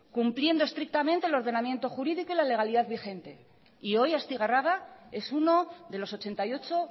cumpliendo estrictamente el ordenamiento jurídico y la legalidad y vigente y hoy astigarraga es uno de los ochenta y ocho